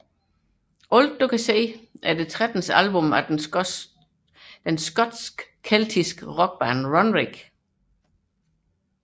Everything You See er det trettende album fra den skotske keltiske rockband Runrig